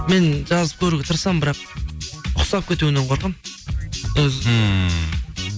мен жазып көруге тырысамын бірақ ұқсап кетуінен қорқамын өзі ммм